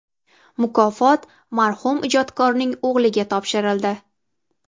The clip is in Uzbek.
(mukofot marhum ijodkorning o‘g‘liga topshirildi).